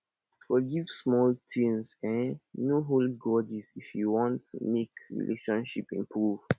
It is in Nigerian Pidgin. forgive small thing um no hold grudges if you want make relationship improve